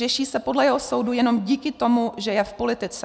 Řeší se podle jeho soudu jenom díky tomu, že je v politice.